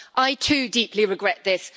I, too, deeply regret this.